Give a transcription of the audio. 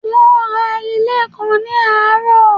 Wón ra ilẹ̀ kan ní àárọ̀